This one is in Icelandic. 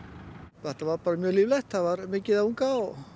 þetta var bara mjög líflegt það var mikið af unga